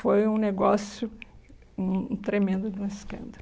Foi um negócio hum um tremendo de um escândalo.